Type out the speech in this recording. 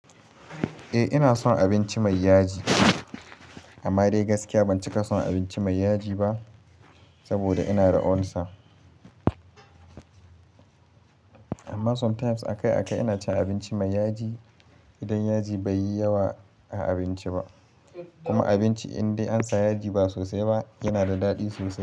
Eh ina son abinci mai yaji, amma dai gaskiya ban cika son abinci mai yaji ba saboda ina da ulsa. Amma sometimes aka-aka ina cin abinci mai yaji idan yaji baiyi yawa a abinci ba, kuma abinci indai ansa yaji ba sosai ba yana da daɗi sosai.